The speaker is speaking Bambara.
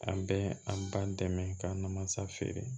An bɛ an ba dɛmɛ ka na masa feere